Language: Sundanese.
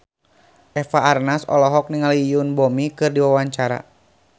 Eva Arnaz olohok ningali Yoon Bomi keur diwawancara